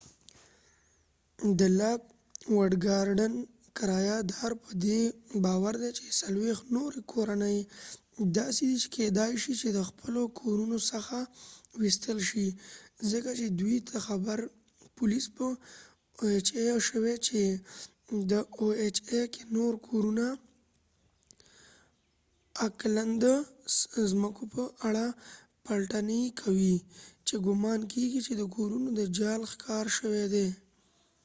د لاک وډ ګارډن کرایه دار په دي باور دي چې 40 نوری کورنۍ داسې دي چې کېدای شي چې د خپلو کورونو څخه وويستل شي. ځکه چې دوي ته خبر شوي چې د او ایچ ای ohaپولیس په اکلند oacklandکې نور د کورونو څمکو په اړه پلټنی کوي چې ګمان کېږی چې د کورونو د جعل ښکار شوي دي